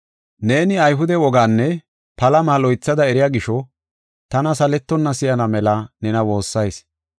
Neeni Ayhude woganne palama loythada eriya gisho tana saletonna si7ana mela nena woossayis.